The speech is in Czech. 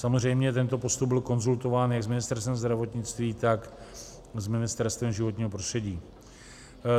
Samozřejmě tento postup byl konzultován jak s Ministerstvem zdravotnictví, tak s Ministerstvem životního prostředí.